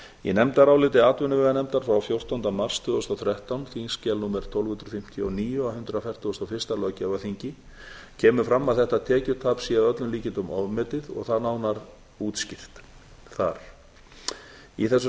í nefndaráliti atvinnuveganefndar frá fjórtánda mars tvö þúsund og þrettán kemur fram að þetta tekjutap sé að öllum líkindum ofmetið og það nánar útskýrt þar í þessu